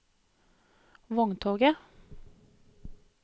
vogntoget